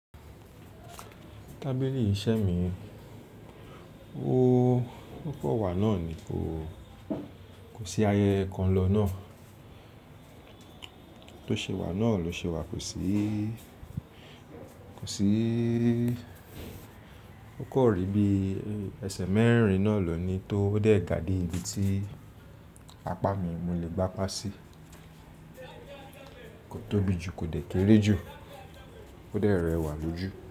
Tábìlì iṣẹ́ mi, ó kọ̀ wá náà ni kò sí ayẹyẹ kan lọ náà. Tó ṣe wà náà ló ṣe wà, kò sí, kò sí, ó kò rí bí ẹsẹ̀ mẹ́rin náà lọ ni tó dẹ̀ gà dé ibi tí apá mi mo lè gbá pàṣí. Kò tóbi jù, kò dẹ̀ kéré jù, ó dẹ̀ rẹwà lójú.